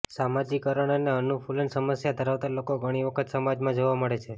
સમાજીકરણ અને અનુકૂલનની સમસ્યા ધરાવતા લોકો ઘણી વખત સમાજમાં જોવા મળે છે